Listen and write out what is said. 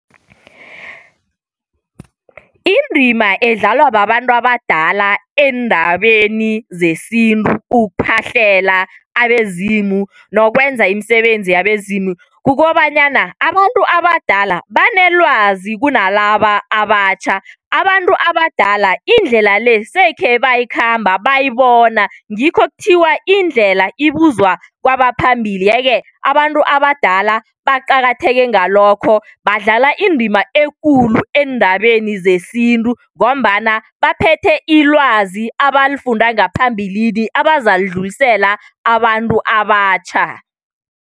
Indima edlalwa babantu abadala eendabeni zesintu kuphahlela abezimu nokwenza imisebenzi yabezimu kukobanyana abantu abadala banelwazi kunalaba abatjha, abantu abadala indlela le sekhe bayikhamba bayayibona ngikho kuthiwa indlela ibuzwa kwabaphambili. Yeke abantu abadala baqakatheke ngalokho badlala indima ekulu eendabeni zesintu ngombana baphethe ilwazi abalifunda ngaphambilini abazalidlulisela abantu abatjha.